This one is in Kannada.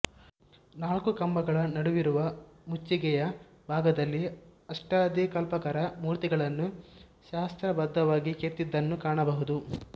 ನಾಲ್ಕು ಕಂಬಗಳ ನಡುವಿರುವ ಮುಚ್ಚಿಗೆಯ ಭಾಗದಲ್ಲಿ ಅಷ್ಠದಿಕ್ಪಾಲಕರ ಮೂರ್ತಿಗಳನ್ನು ಶಾಸ್ತ್ರ ಬದ್ಧವಾಗಿ ಕೆತ್ತಿದ್ದನ್ನು ಕಾಣಬಹುದು